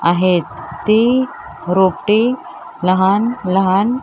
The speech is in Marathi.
आहेत ती रोपटी लहान लहान --